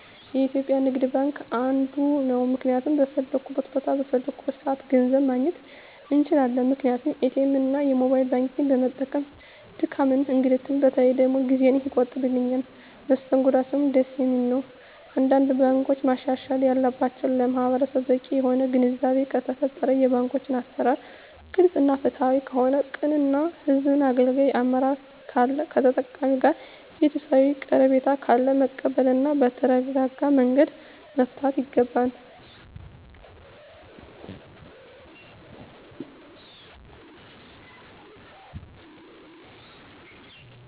የኢትዩጲያ ንግድባንክ አንዱ ነዉ ምክንያቱም በፈለኩት ቦታ በፈለኩበት ሰአት ገንዘብ ማግኘት እንችላለን ምክንያቱም ኢትኤምእና የሞባይል ባንኪግን በመጠቀም ድካምንም እንግልትም በተለይ ደግሞ ጊዜየን ይቆጥብልኛል መስተንግዶአቸዉም ደስ የሚል ነዉ አንዳንድ ባንኮች ማሻሻል ያለባቸዉ ለማህበረሰቡ በቂ የሆነ ግንዛቤ ከተፈጠረ የባንኮች አሰራር ግልፅ እና ፍትሀዊ ከሆነ ቅን እና ህዝቡን አገልጋይ አመራር ካለ ከተጠቃሚዉ ጋር ቤተሰባዊ ቀረቤታ ካለ መቀበል እና በተረጋጋመንገድ መፍታት ይገባል